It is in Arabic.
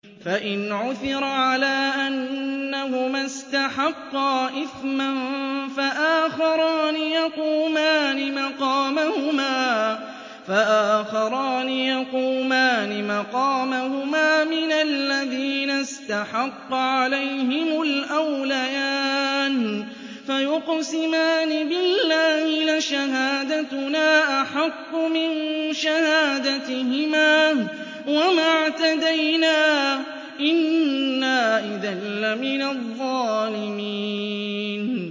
فَإِنْ عُثِرَ عَلَىٰ أَنَّهُمَا اسْتَحَقَّا إِثْمًا فَآخَرَانِ يَقُومَانِ مَقَامَهُمَا مِنَ الَّذِينَ اسْتَحَقَّ عَلَيْهِمُ الْأَوْلَيَانِ فَيُقْسِمَانِ بِاللَّهِ لَشَهَادَتُنَا أَحَقُّ مِن شَهَادَتِهِمَا وَمَا اعْتَدَيْنَا إِنَّا إِذًا لَّمِنَ الظَّالِمِينَ